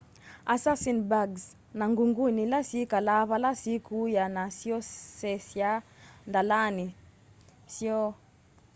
assassin-bugs na ngunguni ila syikalaa vala sikuya na syoseyaa ndalani syoo